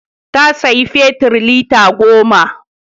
Ta saya fetir lita goma